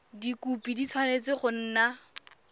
dikhopi di tshwanetse go nna